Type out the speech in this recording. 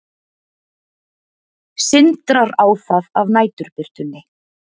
Sindrar á það af næturbirtunni.